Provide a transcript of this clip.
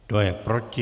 Kdo je proti?